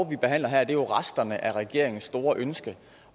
vi behandler her er jo resterne af regeringens store ønske